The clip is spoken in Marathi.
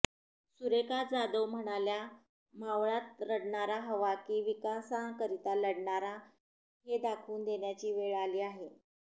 सुरेखा जाधव म्हणाल्या मावळात रडणारा हवा की विकासाकरिता लढणारा हे दाखवून देण्याची वेळ आली आहे